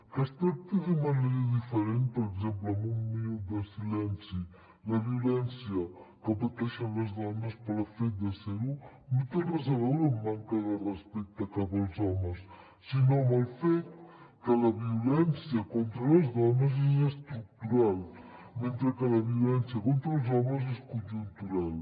que es tracti de manera diferent per exemple amb un minut de silenci la violència que pateixen les dones pel fet de ser ho no té res a veure amb manca de respecte cap als homes sinó amb el fet que la violència contra les dones és estructural mentre que la violència contra els homes és conjuntural